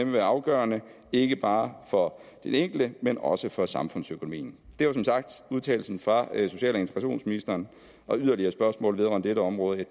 være afgørende ikke bare for den enkelte men også for samfundsøkonomien det var som sagt udtalelsen fra social og integrationsministeren og yderligere spørgsmål vedrørende dette område